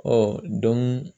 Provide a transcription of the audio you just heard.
Ɔ